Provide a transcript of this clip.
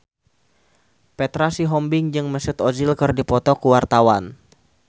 Petra Sihombing jeung Mesut Ozil keur dipoto ku wartawan